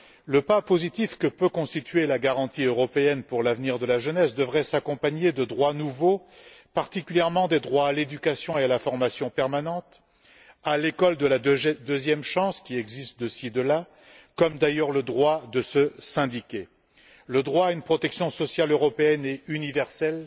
Le pas positif que peut constituer la garantie européenne pour l'avenir de la jeunesse devrait s'accompagner de droits nouveaux, particulièrement des droits à l'éducation et à la formation permanente, à l'école de la deuxième chance, qui existe de ci, de là, comme, d'ailleurs, le droit de se syndiquer, le droit à une protection sociale européenne et universelle